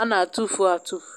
a n'atụfu atufu.